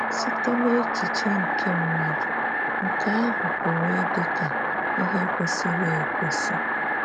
Site na echiche nke mmadụ, nke ahụ pụrụ ịdika ịhe kwesịrị ekwesị.